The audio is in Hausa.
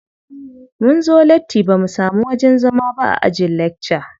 Munzo latti bamu samu wajen zama ba a ajin lakca.